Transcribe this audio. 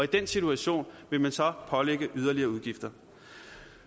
den situation vil man så pålægge yderligere udgifter